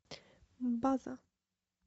база